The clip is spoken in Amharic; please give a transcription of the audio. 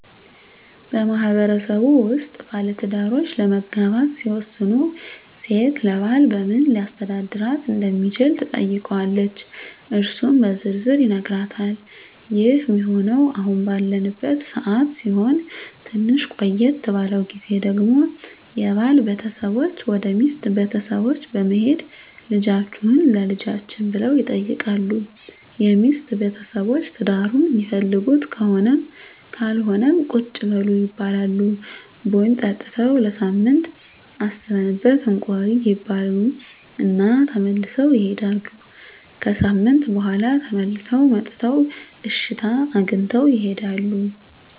በማህበረሰቡ ውስጥ ባለትዳሮች ለመጋባት ሲወስኑ ሴት ለባል በምን ሊያስተዳድራት እንደሚችል ትጠይቀዋለች እሱም በዝርዝር ይነግራታል ይህ ሚሆነው አሁን ባለንበት ሰዓት ሲሆን ትንሽ ቆየት ባለው ግዜ ደግሞ የባል ቤተሰቦች ወደ ሚስት ቤተሰቦች በመሄድ ልጃቹህን ለልጃችን ብለው ይጠይቃሉ የሚስት ቤተሰቦች ትዳሩን ሚፈልጉት ከሆነም ካልሆነም ቁጭ በሉ ይባላሉ ቡና ጠጥተው ለሳምንት አስበንበት እንቆይ ይባሉ እና ተመልሰው ይሄዳሉ። ከሣምንት በኋላ ተመልሰው መጥተው እሽታ አግኝተው ይሄዳሉ።